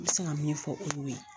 N bɛ se ka min fɔ o y'o ye